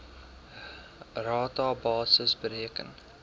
rata basis bereken